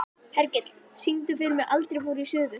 Hergill, syngdu fyrir mig „Aldrei fór ég suður“.